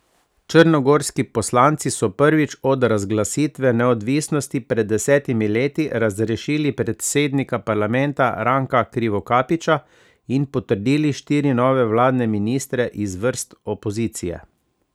Črnogorski poslanci so prvič od razglasitve neodvisnosti pred desetimi leti razrešili predsednika parlamenta Ranka Krivokapića in potrdili štiri nove vladne ministre iz vrst opozicije.